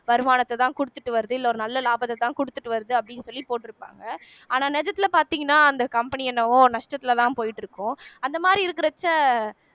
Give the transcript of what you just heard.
வருமானத்தைதான் கொடுத்துட்டு வருது இல்ல ஒரு நல்ல லாபத்தைதான் கொடுத்துட்டு வருது அப்படின்னு சொல்லி போட்டிருப்பாங்க ஆனா நிஜத்திலே பார்த்தீங்கன்னா அந்த company என்னவோ நஷ்டத்திலேதான் போயிட்டு இருக்கும் அந்த மாதிரி இருக்கிறச்சே